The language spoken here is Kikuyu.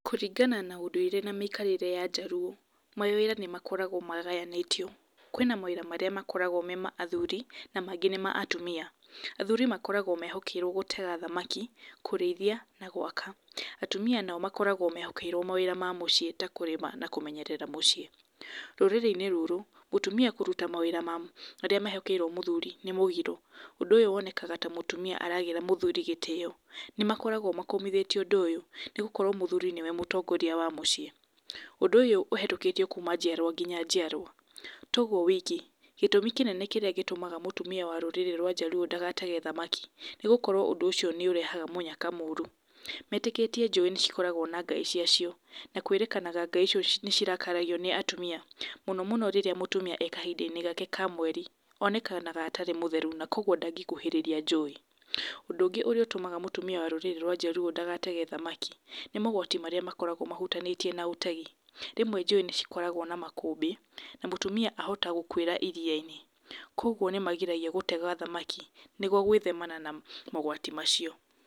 Kũringana na ũndũire na mĩikarĩre ya njaruo mawĩra nĩ makoragwo magayanĩtio. Kwĩna mawĩra arĩa makoragwo me ma athuri na mangĩ nĩ ma atumia. Athuri makoragwo mehokeĩrwo gũtega thamaki, kũrĩithia na gũaka, atumia nao makoragwo mehokeirwo mawĩra ma mũcĩĩ ta kũrĩma na kũmenyerera mũcĩe, rũrĩrĩ-inĩ rũrũ mũtumia kũruta mawĩra marĩa mehokeirwo mũthuri nĩ mũgiro, ũndũ wonekaga ta mũtumia aragĩra muthuri gĩtĩyo. Nĩ makoragwo makomithĩtie ũndũ ũyũ nĩgũkorwo mũthuri nĩwe mũtongoria wa mũcĩe. Ũndũ ũyũ ũhetũkitĩo kuma njiarwa nginya njiarwa to ũguo wiki gĩtumi kĩnene kĩrĩa gĩtũmaga mũtumia wa rũrĩrĩ rwa njarũo ndagatege thamaki nĩgũkorwo ũndũ ũcio nĩ ũrehaga mũnyaka mũru , metĩkĩtie njũĩ nĩ ikoragwo na ngai cia cio na kwĩrĩkanaga ngai icio nĩcirakaragio nĩ atumia mũno mũno rĩrĩa mũtumia e kahinda-inĩ gake ka mweri, onekanaga atarĩ mũtheru kwa ũguo ndangĩkuhĩrĩria njũĩ. Ũndũ ũngĩ ũtũmaga mũtumia wa rũrĩrĩ rwa njarũo ndagatege thamaki nĩ maũgwati marĩa makoragwo mahutanĩtie na ũtegi rĩmwe njũĩ nĩcikoragwo na makũmbĩ na mũtumia ahota gũkũĩra iria-inĩ kwa ũguo nĩmagiragio gũtega thamaki nĩgũo gwĩthemana na maũgwati macio.